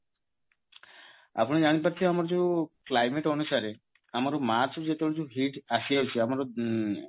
ଆପଣ ଜାଣିପାରୁଥିବେ ଆମର ଯୋଉ climate ଅନୁସାରେ ଆମର ମାର୍ଚ ରୁ ଯେତେବେଳେ ଯୋଉ heat ଆସିଯାଉଛି ଆମର